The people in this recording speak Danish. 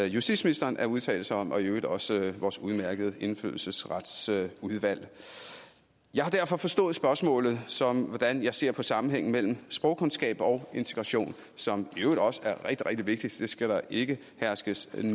justitsministeren at udtale sig om det og i øvrigt også vores udmærkede indfødsretsudvalg jeg har derfor forstået spørgsmålet som hvordan jeg ser på sammenhængen mellem sprogkundskaber og integration som i øvrigt også er rigtig rigtig vigtigt det skal der ikke herske